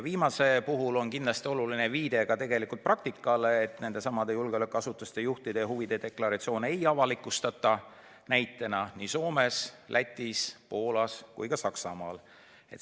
Viimase puhul on kindlasti oluline viidata ka praktikale, et julgeolekuasutuste juhtide huvide deklaratsiooni ei avalikustata näiteks Soomes, Lätis, Poolas ega Saksamaal.